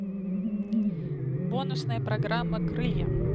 бонусная программа крылья